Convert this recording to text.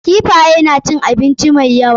Kifaye na cin abinci mai yawa.